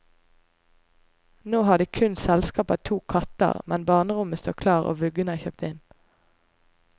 Nå har de kun selskap av to katter, men barnerommet står klart og vuggen er kjøpt inn.